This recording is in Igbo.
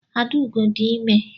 Adaugo dị ime.